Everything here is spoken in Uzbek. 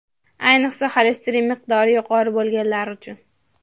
Ayniqsa, xolesterin miqdori yuqori bo‘lganlar uchun.